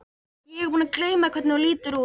Ég er búin að gleyma hvernig þú lítur út.